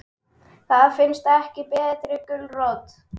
Það finnst ekki betri gulrót.